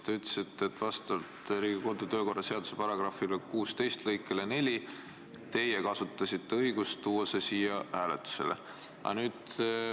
Te ütlesite, et vastavalt Riigikogu kodu- ja töökorra seaduse § 16 lõikele 4 teie kasutasite õigust tuua see ettepanek siia hääletusele.